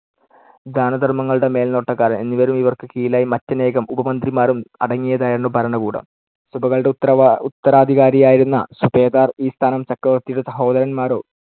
ദാനധർമ്മങ്ങളുടെ മേൽനോട്ടക്കാരൻ എന്നിവരും ഇവർക്കു കീഴിലായി മറ്റനേകം ഉപമന്ത്രിമാരും അടങ്ങിയതായിരുന്നു ഭരണകൂടം. സുബകളുടെ ഉത്തരവാ~ ഉത്തരാധികാരിയായിരുന്ന സുബേദാർ ഈ സ്ഥാനം ചക്രവർത്തിയുടെ സഹോദരന്മാരോ